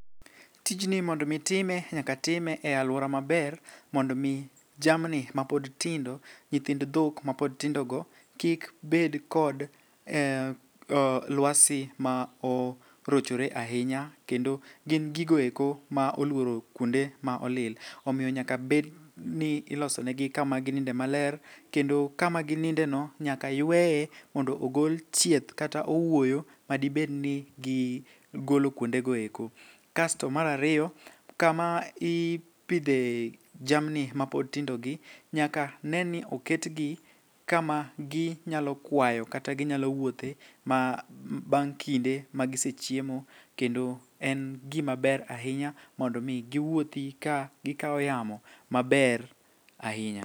Tijni mondo mi itime nyak time e alwora maber mondo mi jamni mapod tindo nyithind dhok mapod tindogo kik bed kod lwasi ma orochore ahinya kendo gin gigoeko ma oluoro kuonde ma olil, omiyo nyaka bedni ilosonegi kama gininde maler kendo kama ginindeno nyaka yweye mondo ogol chieth kata owuoyo madibed ni gigolo kuondego eko. Kasto mar ariyo, kama ipidhe jamni mapod tindogi, nyaka ne ni oketgi kama ginyalo kwayo kata ginyalo wuothe bang' kinde magisechiemo kendo en gimaber ahinya mondo omi giwuothi kagikawo yamo maber ahinya.